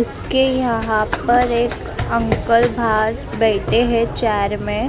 उसके यहां पर एक अंकल बाहर बैठे हैं चेयर में--